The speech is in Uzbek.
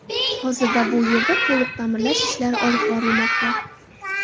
Hozirda bu yerda to‘liq ta’mirlash ishlari olib borilmoqda.